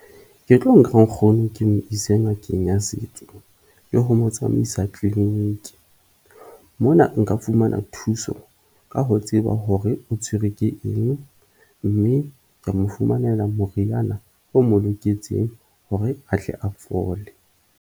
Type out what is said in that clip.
Ke tlo nka nkgono ke mo ise ngakeng ya setso le ho mo tsamaisa clinic. Mona nka fumana thuso ka ho tseba hore o tshwerwe ke eng, mme ka mo fumanela moriana o mo loketseng hore a tle a fole.